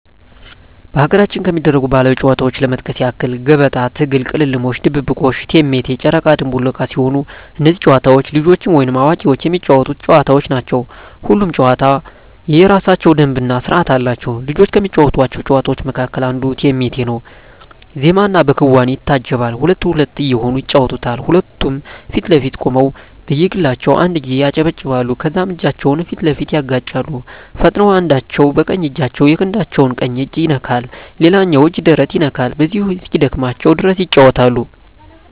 በሀገራችን ከሚደረጉ ባህላዊ ጨዋታዎች ለመጥቀስ ያክል ገበጣ፣ ትግል፣ ቅልምልሞሽ፣ ድብብቆሽ፣ እቴሜቴ፣ ጨረቃ ድንቡል ዕቃ ሲሆኑ እነዚህ ጨዋታዎች ልጆችም ወይም አዋቂዎች የሚጫወቱት ጨዋታዎች ናቸው። ሁሉም ጨዋታ የየራሳቸው ደንብ እና ስርዓት አላቸው። ልጆች ከሚጫወቷቸው ጨዋታዎች መካከል አንዱ እቴሜቴ ነው በዜማና በክዋኔ ይታጀባል ሁለት ሁለት እየሆኑ ይጫወቱታል ሁለቱም ፊት ለፊት ቆመው በየግላቸው አንድ ጊዜ ያጨበጭባሉ ከዛም እጃቸውን ፊት ለፊት ያጋጫሉ ፈጥነው አንዳቸው በቀኝ እጃቸው የክንዳቸው ቀኝ እጅ ይነካል ሌላኛው እጅ ደረት ይነካል በዚሁ እስኪደክማቸው ድረስ ይጫወታሉ።